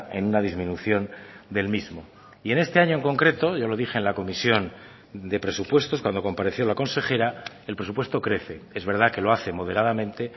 en una disminución del mismo y en este año en concreto yo lo dije en la comisión de presupuestos cuando compareció la consejera el presupuesto crece es verdad que lo hace moderadamente